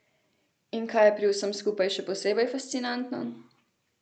In kaj je pri vsem skupaj še posebej fascinantno?